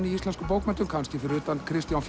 í íslenskum bókmenntum kannski fyrir utan Kristján